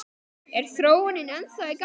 Er þróunin ennþá í gangi?